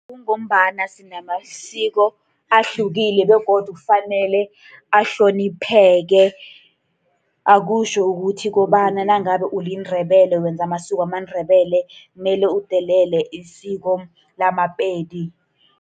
Kungombana sinamasiko ahlukile, begodu kufanele ahlonipheke. Akutjho ukuthi kobana nangabe uliNdebele wenza amasiko wamaNdebele kumele udelele isiko lamaPedi.